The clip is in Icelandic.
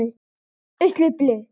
Mæli með þessari nálgun!